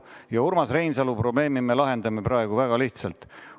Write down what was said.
Ja Urmas Reinsalu probleemi me lahendame praegu väga lihtsalt.